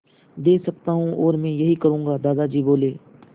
दे सकता हूँ और मैं यही करूँगा दादाजी बोले